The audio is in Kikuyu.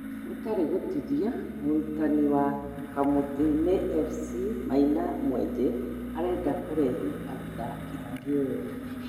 ( gũtarĩ gũtithia) mũrũtani wa Kamũti-inĩ FC maina mwenje arenda kũrehe athaki angĩ erũ